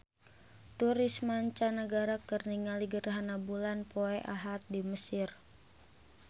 Turis mancanagara keur ningali gerhana bulan poe Ahad di Mesir